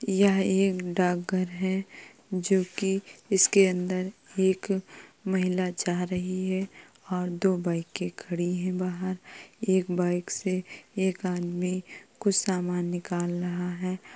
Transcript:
यह एक डाक घर है जोकि इसके अंदर एक महिला जा रही है और दो बाइके खड़ी हैं बाहर। एक बाइक से एक आदमी कुछ सामान निकाल रहा है।